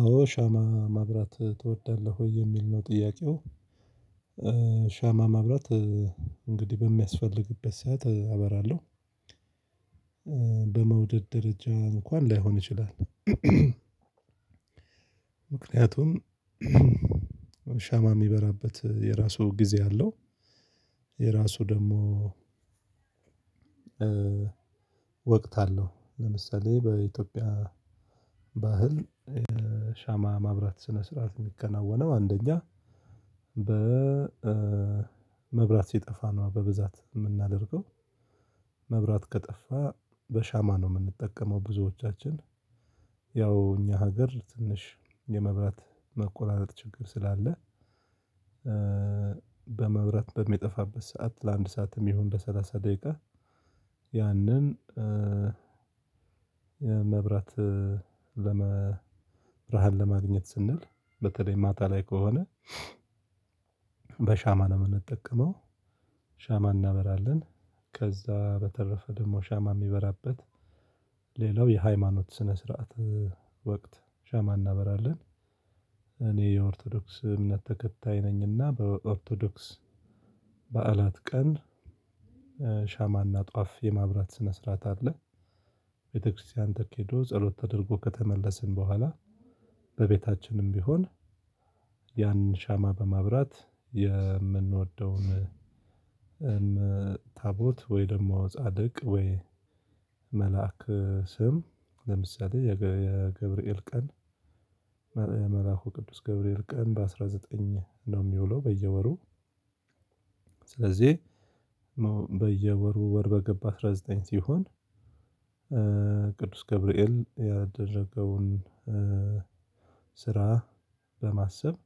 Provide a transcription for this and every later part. አዎ ሻማ ማብራት ትወዳለህ ወይ የሚል ነው ጥያቄው? ሻማ ማብራት እንግዲህ በሚያስፈልግበት ሰዓት አበራለሁ። በመውደድ ደረጃ እንኳን ላይሆን ይችላል። ምክንያቱም ሻማ የሚበራበት የራሱ ጊዜ አለው። የራሱ ደግሞ ወቅት አለው ለምሳሌ በኢትዮጵያ ባህል። ሻማ ማብራት ስነ ስርዓት የሚከናወነው አንደኛ በ መብራት ሲጠፋ ነው በብዛት የምናደርገው። መብራት ከጠፋ በሻማ ነው የምንጠቀመው ብዙዎቻችን። ያው እኛ ሀገር ትንሽ የመብራት መቆራረጥ ችግር ስላለ። በመብራት በሚጠፋበት ሰዓት ለአንድ ሰዓትም ይሁን በሰላሳ ደቂቃ ያንን መብራት ለመ ብርሃን ለማግኘት ስንል በተለይ ማታ ላይ ከሆነ በሻማ ነው የምንጠቀመው። ሻማ እናበራለን። ከዛ በተረፈ ደግሞ ሻማ የሚበራበት ሌላው የሃይማኖት ስነ ስርዓት ወቅት ሸማ እናበራለን። እኔ የኦርቶዶክስ እምነት ተከታይ ነኝና በኦርቶዶክስ በዓላት ቀን ሻማና ጧፍ የማብራት ስነ ስርዓት አለ። ቤተክርስቲያን ተኬዶ ጸሎት ተደርጎ ከተመለስን በኋላ በቤታችንም ቢሆን። ያን ሻማ በማብራት የምንወደውን ታቦት ወይ ደግሞ ጻድቅ ወይ መልአክ ስም ለምሳሌ የገብርኤል ቀን። መልአኩ ቅዱስ ገብርኤል ቀን በአስራ ዘጠኝ ነው የሚውለው በየወሩ። ስለዚህ በየወሩ ወር በገባ አስራ ዘጠኝ ሲሆን። ቅዱስ ገብርኤል ያደረገውን ስራ በማሰብ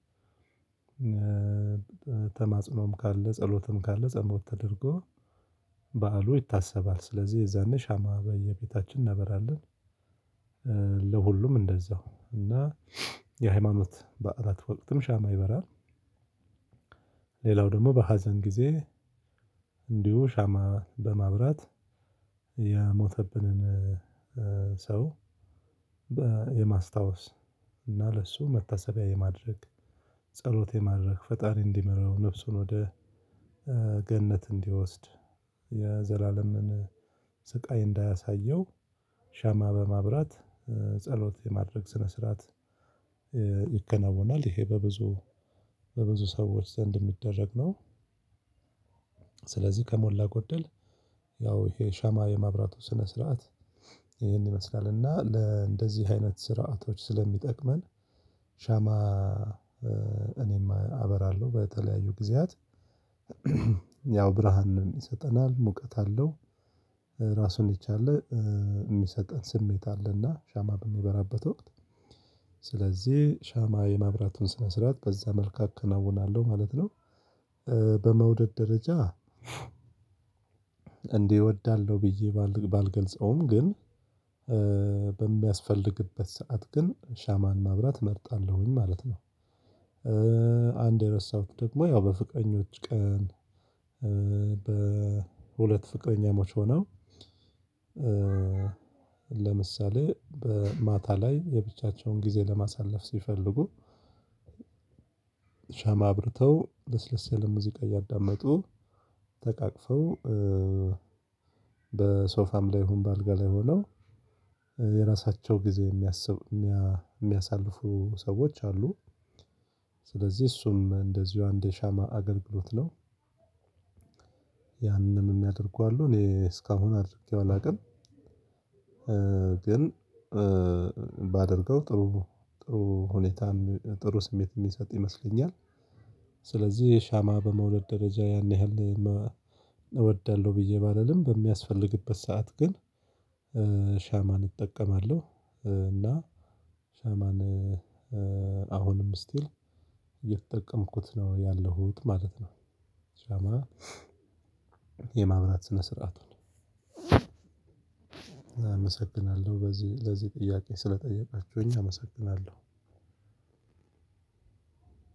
ተማጽኖም ካለ ጸሎትም ካለ ጸሎት ተደርጎ በዓሉ ይታሰባል ስለዚህ የዛኔ ሻማ በየቤታችን እናበራለን። ለሁሉም እንደዛው እና የሃይማኖት በዓላት ወቅትም ሻማ ይበራል። ሌላው ደግሞ በሀዘን ጊዜ እንዲሁ ሻማ በማብራት የሞተብንን ሰው የማስታወስ እና ለእሱ መታሰቢያ የማድረግ ጸሎት የማድረግ ፈጣሪ እንዲመራው ነፍሱን ወደ ገነት እንዲወስድ የዘላለምን ስቃይ እንዳያሳየው ሻማ በማብራት ጸሎት የማድረግ ስነ ስርዓት። ይከናወናል ይሄ በብዙ በብዙ ሰዎች ዘንድ የሚደረግ ነው። ስለዚህ ከሞላ ጎደል ያው ይሄ ሻማ የማብራቱ ስነ ስርዓት ይሄን ይመስላል። እና ለእንደዚህ አይነት ስርዓቶች ስለሚጠቅመን ሻማ። እኔም አበራለሁ በተለያዩ ጊዜያት ያው ብርሃንን ይሰጠናል ሙቀት አለው። ራሱን የቻለ የሚሰጠን ስሜት አለ እና ሻማ በሚበራበት ወቅት ስለዚህ ሻማ የማብራትን ስነ ስርዓት በዛ መልክ አከናውናለሁ ማለት ነው። በመውደድ ደረጃ። እንዲህ እወዳለሁ ብዬ ባልገልጸውም ግን በሚያስፈልግበት ሰዓት ግን ሻማን ማብራት እመርጣለሁኝ ማለት ነው። አንድ የረሳሁት ደግሞ ያው በፍቅረኞች ቀን። በ ሁለት ፍቅረኛሞች ሆነው ለምሳሌ በማታ ላይ የብቻቸውን ጊዜ ለማሳለፍ ሲፈልጉ ሻማ አብርተው ለስለስ ያለ ሙዚቃ እያዳመጡ ተቃቅፈው በሶፋም ላይ ይሁን በአልጋ ላይ ሆነው የራሳቸው ጊዜ የሚያስቡ የሚያሳልፉ ሰዎች አሉ። ስለዚህ እሱም እንደዚሁ አንድ የሻማ አገልግሎት ነው። ያንንም የሚያደርጉ አሉ እኔ እስከ አሁን አድርጌው አላውቅም። ግን ባደርገው ጥሩ ጥሩ ሁኔታም ጥሩ ስሜትም የሚሰጥ ይመስለኛል። ስለዚህ ሻማ በመውደድ ደረጃ ያን ያህል እወዳለሁ ብዬ ባልልም በሚያስፈልግበት ሰዓት ግን ሻማን እጠቀማለሁ። እና ሻማን አሁንም ስቲል እየተጠቀምኩት ነው ያለሁት ማለት ነው። ሻማ የማብራት ስነ ስርዓቱን። አመሰግናለሁ በዚህ ለዚህ ጥያቄ ስለጠየቃችሁኝ አመሰግናለሁ።